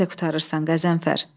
Sən də qurtarırsan, Qəzənfər.